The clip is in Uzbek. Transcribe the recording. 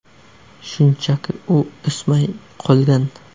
Shunchaki u o‘smay qolgan.